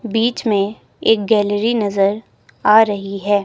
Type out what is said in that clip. बीच में एक गैलरी नजर आ रही है।